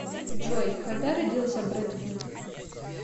джой когда родился брэд питт